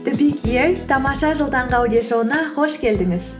тамаша жыл таңғы аудиошоуына қош келдіңіз